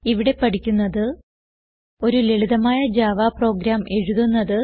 ഇവിടെ പഠിക്കുന്നത് ഒരു ലളിതമായ ജാവ പ്രോഗ്രാം എഴുതുന്നത്